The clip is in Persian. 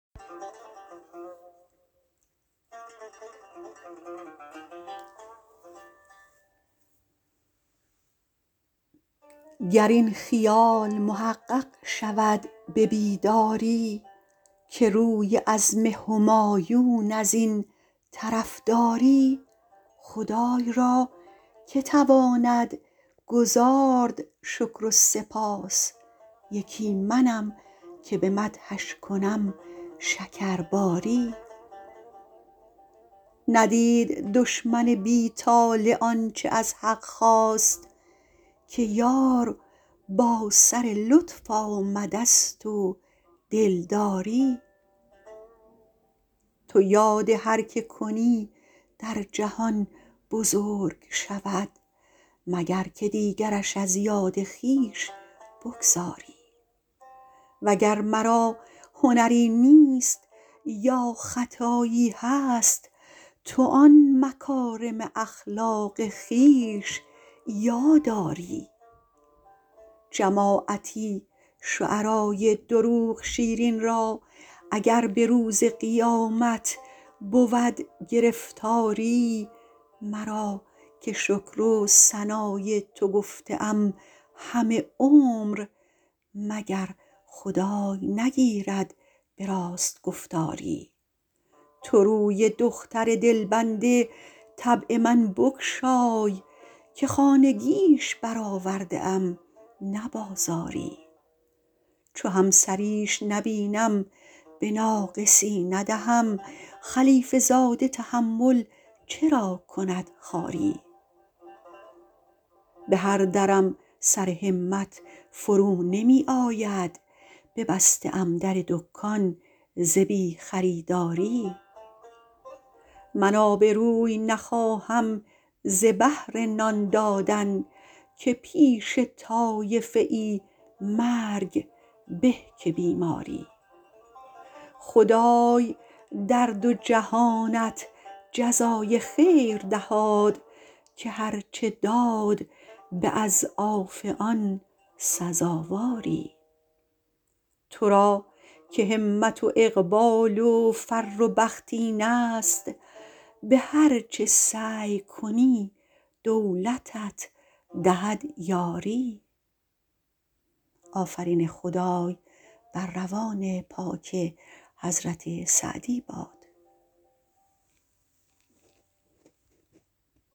گرین خیال محقق شود به بیداری که روی عزم همایون ازین طرف داری خدای را که تواند گزارد شکر و سپاس یکی منم که به مدحش کنم شکرباری ندید دشمن بی طالع آنچه از حق خواست که یار با سر لطف آمدست و دلداری تو یاد هر که کنی در جهان بزرگ شود مگر که دیگرش از یاد خویش بگذاری وگر مرا هنری نیست یا خطایی هست تو آن مکارم اخلاق خویش یاد آری جماعتی شعرای دروغ شیرین را اگر به روز قیامت بود گرفتاری مرا که شکر و ثنای تو گفته ام همه عمر مگر خدای نگیرد به راست گفتاری تو روی دختر دلبند طبع من بگشای که خانگیش برآورده ام نه بازاری چو همسریش نبینم به ناقصی ندهم خلیفه زاده تحمل چرا کند خواری به هر درم سر همت فرو نمی آید ببسته ام در دکان ز بی خریداری من آبروی نخواهم ز بهر نان دادن که پیش طایفه ای مرگ به که بیماری خدای در دو جهانت جزای خیر دهاد که هر چه داد به اضعاف آن سزاواری تو را که همت و اقبال و فر و بخت اینست به هر چه سعی کنی دولتت دهد یاری